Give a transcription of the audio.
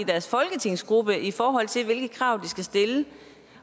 i deres folketingsgruppe i forhold til hvilke krav de skal stille